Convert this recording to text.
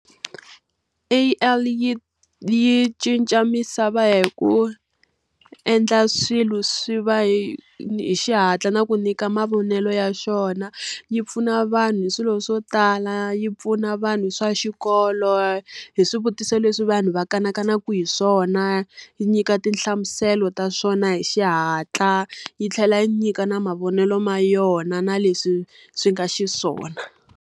A_I yi yi cinca misava hi ku endla swilo swi va hi hi xihatla na ku nyika mavonelo ya xona. Yi pfuna vanhu hi swilo swo tala, yi pfuna na vanhu hi swa xikolo, hi swivutiso leswi vanhu va kanakana ku hi swona, yi nyika tinhlamuselo ta swona hi xihatla, yi tlhela yi nyika na mavonelo ma yona na leswi swi nga xiswona.